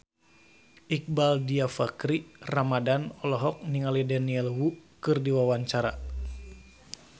Iqbaal Dhiafakhri Ramadhan olohok ningali Daniel Wu keur diwawancara